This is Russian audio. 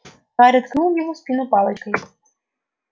гарри ткнул его в спину палочкой